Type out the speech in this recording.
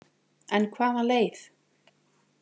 En hvaða leið?